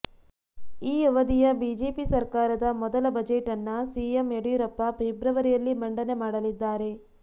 ಈ ಅವಧಿಯ ಬಿಜೆಪಿ ಸರ್ಕಾರದ ಮೊದಲ ಬಜೆಟ್ ನ್ನ ಸಿಎಂ ಯಡಿಯೂರಪ್ಪ ಫೆಬ್ರವರಿಯಲ್ಲಿ ಮಂಡನೆ ಮಾಡಲಿದ್ದಾರೆ